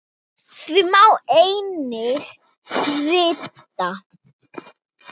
Því má einnig rita